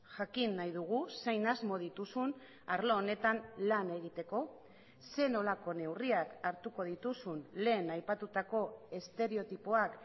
jakin nahi dugu zein asmo dituzun arlo honetan lan egiteko zer nolako neurriak hartuko dituzun lehen aipatutako estereotipoak